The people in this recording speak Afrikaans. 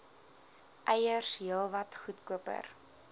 eiers heelwat goedkoper